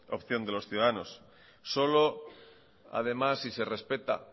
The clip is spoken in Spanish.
opción de los ciudadanos solo además si se respeta